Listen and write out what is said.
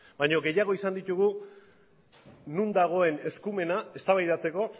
baina gehiago izan ditugu non dagoen eskumena eztabaidatzeko